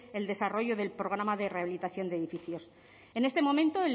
el desarrollo del programa de rehabilitación de edificios en este momento